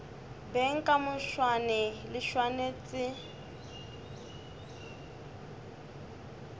beng ka moswane ke swanetše